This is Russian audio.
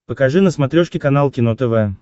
покажи на смотрешке канал кино тв